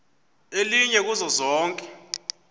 elinye kuzo zonke